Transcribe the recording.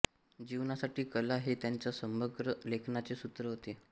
जीवनासाठी कला हे त्यांच्या समग्र लेखनाचे सूत्र होते